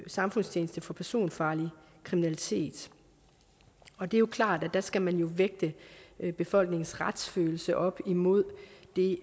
samfundstjeneste for personfarlig kriminalitet og det er jo klart at der skal man vægte befolkningens retsfølelse op imod